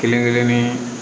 Kelen kelen ni